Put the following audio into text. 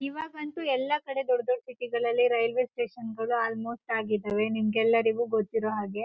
ಇವಾಗ ಅಂತೂ ದುಡ್ಡ್ ದುಡ್ಡ್ ಸಿಟಿ ಗಳಲ್ಲಿ ರೈಲ್ವೆ ಸ್ಟೇಶನ್ ಗಲು ಆಲ್ ಮೋಸ್ಟ ಆಗಿದಾವೆ ನಿಮಗೆಲ್ಲರಿಗೂ ಗೊತ್ತಿರು ಹಾಗೆ.